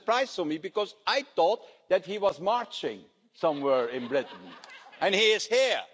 This is a surprise for me because I thought that he was marching somewhere in Britain, and he is here.